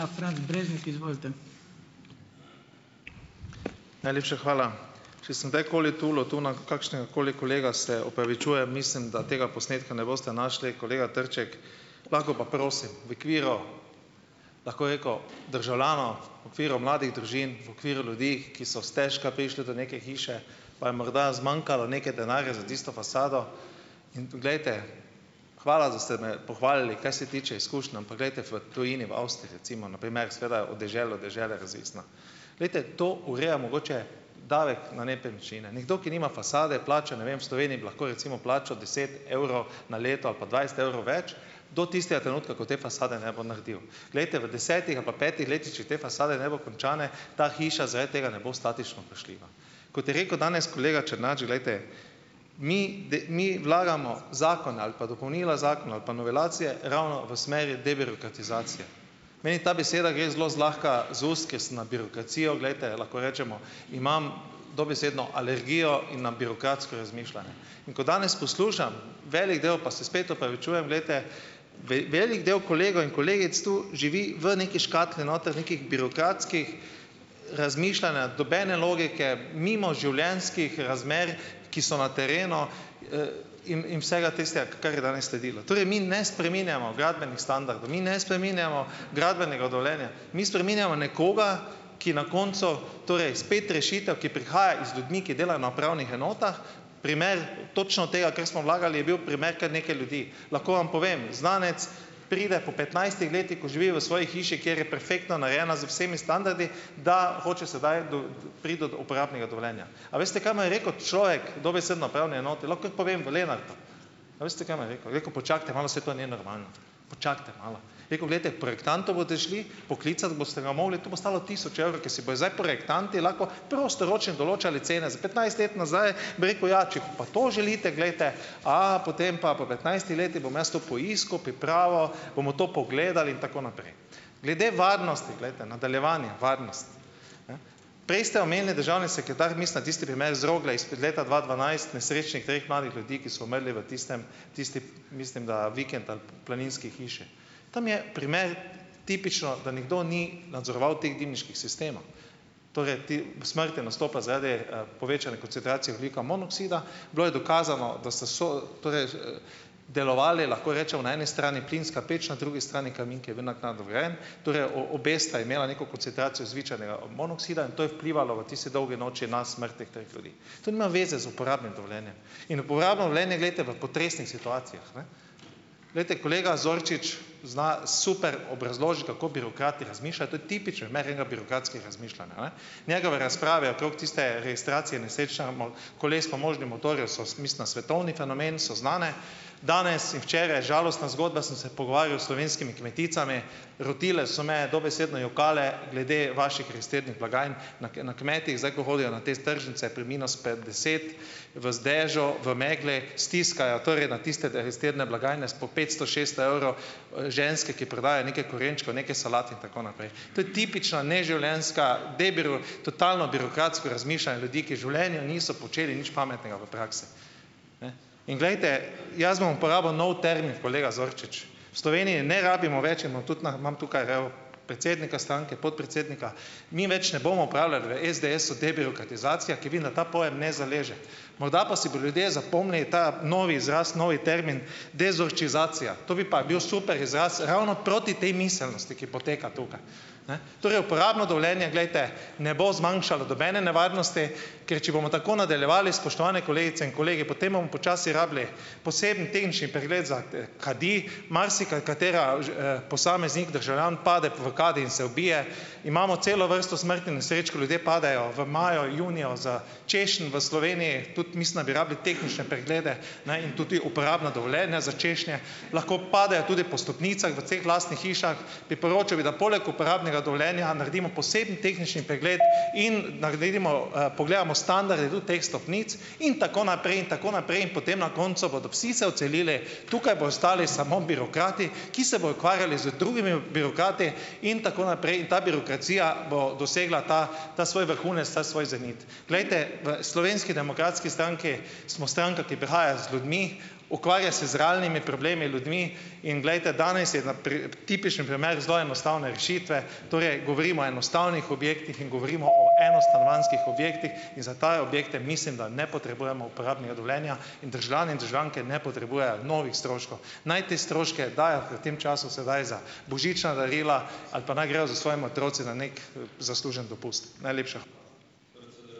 Najlepša hvala. Če sem kdajkoli tulil tu na kakšnegakoli kolega, se opravičujem. Mislim, da tega posnetka ne boste našli, kolega Trček, lahko pa prosim, v okviru, lahko bi rekel, državljanov, v okviru mladih družin, v okviru ljudi, ki so stežka prišli do neke hiše, pa je morda zmanjkalo nekaj denarja za tisto fasado in, glejte, hvala, da ste me pohvalili, kar se tiče izkušenj, ampak glejte v tujini, v Avstriji recimo - na primer, seveda od deželo, dežele razvisna, glejte, to ureja mogoče davek na nepremičnine. Nekdo, ki nima fasade, plača ne vem v Sloveniji, bi lahko recimo plačal deset evrov na leto ali pa dvajset evrov več do tistega trenutka, ko te fasade ne bo naredil. Glejte, v desetih ali pa petih letih, če te fasade ne bo končane, ta hiša zaradi tega ne bo statično vprašljiva. Kot je rekel danes kolega Černač: "Glejte, mi mi vlagamo zakon ali pa dopolnila zakona ali pa novelacije ravno v smeri debirokratizacije." Meni ta beseda gre zelo zlahka z ust, ker sem na birokracijo - glejte, lahko rečemo, imam dobesedno alergijo in na birokratsko razmišljanje. In ko danes poslušam veliko del, pa se spet opravičujem, glejte, velik del kolegov in kolegic tu živi v neki škatli noter, nekega birokratskega razmišljanja, nobene logike, mimo življenjskih razmer, ki so na terenu, in in vsega tistega, kar je danes sledilo. Torej, mi ne spreminjamo gradbenih standardov, mi ne spreminjamo gradbenega dovoljenja, mi spreminjamo nekoga, ki na koncu, torej spet rešitev, ki prihaja z ljudmi, ki delajo na upravnih enotah - primer točno tega, kar smo vlagali, je bil primer kar nekaj ljudi. Lahko vam povem, znanec pride po petnajstih letih, ko živi v svoji hiši, kjer je perfektno narejena z vsemi standardi, da hoče sedaj do priti do uporabnega dovoljenja. A veste, kaj mu je rekel človek dobesedno upravne enote, lahko kar povem, v Lenartu, a veste, kaj mu je rekel? Je rekel: "Počakajte malo, saj to je nenormalno, počakajte malo." Je rekel: "Glejte, projektantu boste šli, poklicati boste ga mogli, to bo stalo tisoč evrov." Ki si bojo zdaj projektanti lahko prostoročno določali cene za petnajst let nazaj. Bi rekel: "Ja, če pa to želite, glejte, a, potem pa po petnajstih letih, bom jaz to poiskal, pripravil, bomo to pogledal in tako naprej." Glede varnosti, glejte - nadaljevanje varnost, ne. Prej ste omenili državni sekretar, mislim, na tisti primer z Rogle, izpred leta dva dvanajst, nesrečnih treh mladih ljudi, ki so umrli v tistem, tisti mislim, da vikend ali planinski hiši. Tam je primer tipično, da nekdo ni nadzoroval teh dimniških sistemov. Torej, ti, smrt je nastopila zaradi, povečanja koncentracije ogljikovega monoksida. Bilo je dokazano, da so so delovali, lahko rečemo, na eni strani plinska peč, na drugi strani kamin, ki je bil naknadno vgrajen, torej oba sta imela neko koncentracijo zvečanega monoksida, in to je vplivalo v tisti dolgi noči na smrt teh treh ljudi. To nima veze z uporabnim dovoljenjem. In uporabno dovoljenje, glejte, v potresnih situacijah, ne. Glejte, kolega Zorčič zna super obrazložiti, kako birokrat razmišlja - to je tipičen primer enega birokratskega razmišljanja, ne. Njegove razprave okrog tiste registracije nesrečnega koles s pomožnim motorjem so mislim, da svetovni fenomen, so znane. Danes in včeraj žalostna zgodba. Sem se pogovarjal s slovenskimi kmeticami - rotile so me, dobesedno jokale glede vaših blagajn na na kmetih. Zdaj, ko hodijo na te tržnice pri minus deset v dežju, v megli, stiskajo torej na tiste blagajne s po petsto, šeststo evrov, ženske, ki prodajajo nekaj korenčkov, nekaj solat in tako naprej. To je tipična neživljenjska totalno birokratsko razmišljanje ljudi, ki v življenju niso počeli nič pametnega v praksi, ne. In glejte, jaz bom uporabil nov termin kolega Zorčič - v Sloveniji ne rabimo več in imam tudi na imam tukaj, evo predsednika stranke, podpredsednika, mi več ne bomo uporabljali v SDS-u debirokratizacija, ker vidim, da ta pojem ne zaleže. Morda pa si bodo ljudje zapomnili ta novi izraz, novi termin "dezorčizacija". To bi pa bil super izraz ravno proti tej miselnosti, ki poteka tukaj, ne. Torej uporabno dovoljenje, glejte, ne bo zmanjšalo nobene nevarnosti, ker če bomo tako nadaljevali, spoštovani kolegice in kolegi, potem bomo počasi rabili poseben tehnični pregled za, kadi - marsikateri, posameznik, državljan pade pol v kadi in se ubije. Imamo celo vrsto smrtnih nesreč, ko ljudje padajo v maju, juniju s češenj v Sloveniji. Tudi mislim, da bi rabili tehnične preglede na in tudi uporabna dovoljenja za češnje. Lahko padejo tudi po stopnicah v ceh lastnih hišah. Priporočal bi, da poleg uporabnega dovoljenja naredimo poseben tehnični pregled in naredimo, pogledamo standarde tudi teh stopnic in tako naprej in tako naprej in potem na koncu bodo vsi se odselili. Tukaj bodo ostali samo birokrati, ki se bodo ukvarjali z drugimi birokrati in tako naprej in ta birokracija bo dosegla ta, ta svoj vrhunec, ta svoj zenit. Glejte, v Slovenski demokratski stranki, smo stranka, ki prihaja z ljudmi, ukvarja se z realnimi problemi ljudi in, glejte, danes je na tipičen primer zelo enostavne rešitve, torej govorimo enostavnih objektih in govorimo o enostanovanjskih objektih in za take objekte, mislim, da ne potrebujemo uporabnega dovoljenja in državljani in državljanke ne potrebujejo novih stroškov. Naj te stroške dajo v tem času sedaj za božična darila, ali pa naj grejo s svojimi otroci na neki, zasluženi dopust. Najlepša hvala.